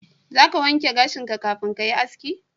Za ka wanke gashinka kafin ka yi haski?